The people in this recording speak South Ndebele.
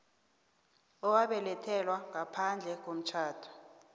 owabelethelwa ngaphandle komtjhado